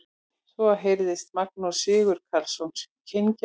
Svo heyrðist Magnús Sigurkarlsson kyngja.